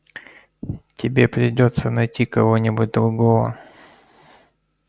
тебе придётся найти кого-нибудь другого